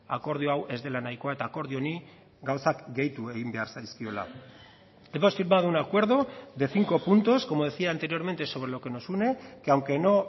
akordio hau ez dela nahikoa eta akordio honi gauzak gehitu egin behar zaizkiola hemos firmado un acuerdo de cinco puntos como decía anteriormente sobre lo que nos une que aunque no